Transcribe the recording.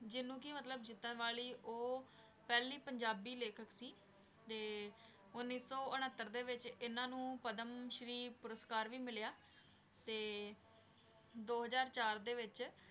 ਜਿਹਨੂੰ ਕਿ ਮਤਲਬ ਜਿੱਤਣ ਵਾਲੀ ਉਹ ਪਹਿਲੀ ਪੰਜਾਬੀ ਲੇਖਕ ਸੀ, ਤੇ ਉੱਨੀ ਸੌ ਉਣੱਤਰ ਦੇ ਵਿੱਚ ਇਹਨਾਂ ਨੂੰ ਪਦਮ ਸ੍ਰੀ ਪੁਰਸਕਾਰ ਵੀ ਮਿਲਿਆ, ਤੇ ਦੋ ਹਜ਼ਾਰ ਚਾਰ ਦੇ ਵਿੱਚ,